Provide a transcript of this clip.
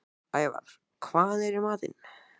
Ævar, hvað er í matinn?